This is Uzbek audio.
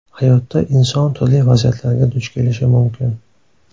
Hayotda inson turli vaziyatlarga duch kelishi mumkin.